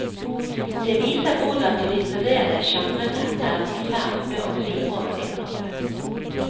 Det viser hvordan de litterære genrene er i ferd med å gli over i hverandre.